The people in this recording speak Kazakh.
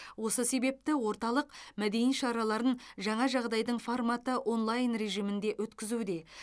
осы себепті орталық мәдени шараларын жаңа жағдайдың форматы онлайн режимінде өткізуде